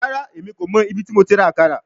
Rara, Emi ko mọ ibiti mo ti ra akara